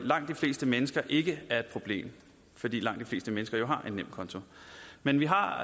langt de fleste mennesker ikke er et problem fordi langt de fleste mennesker har en nemkonto men vi har